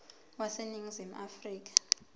wase ningizimu afrika